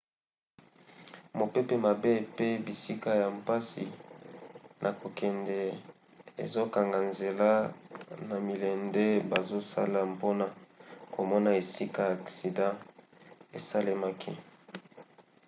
mopepe mabe pe bisika ya mpasi na kokende ezokanga nzela na milende bazosala mpona komona esika aksida esalemaki